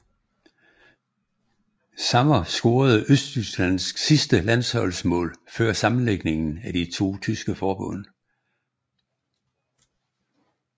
Sammer scorede Østtysklands sidste landsholdsmål før sammenlægningen af de to tyske forbund